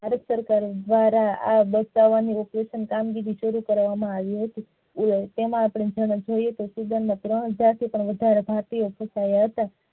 ભારત સરકાર દ્વારા આ બચાવો ની કામગીરી શરુ કરવામાં આવી હતી તેમાં આપડે જોયે તો student ના ત્રણ ભારતીય છોકરાવો હતા.